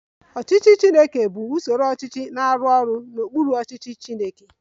Ọchịchị Chineke bụ usoro ọchịchị na-arụ ọrụ n'okpuru ọchịchị Chineke